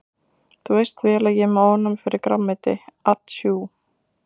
Þú veist vel að ég er með ofnæmi fyrir grænmeti atsjú.